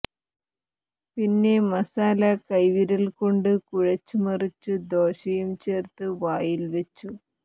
പിന്നെ മസാല കൈവിരൽകൊണ്ട് കുഴച്ചു മറിച്ചു ദോശയും ചേർത്തു വായിൽ വെച്ചു